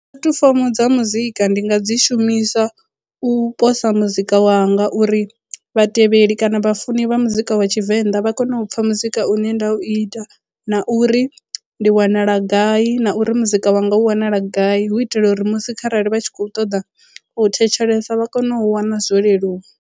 Puḽatifomo dza muzika ndi nga dzi shumisa u posa muzika wanga uri vhatevheli kana vha funi vha muzika wa tshivenḓa vha kone u pfha muzika une nda u ita na uri ndi wanala gai na uri muzika wanga u wanala gai hu itela uri musi kharali vha tshi khou ṱoḓa u thetshelesa vha kone u wana zwo leluwa.